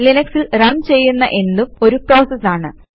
ലിനക്സിൽ run ചെയ്യുന്ന എന്തും ഒരു പ്രോസസ് ആണ്